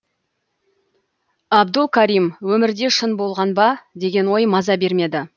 абдул карим өмірде шын болған ба деген ой маза бермеді